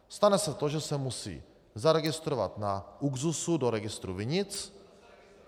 Stane se to, že se musí zaregistrovat na ÚKZÚZu do registru vinic.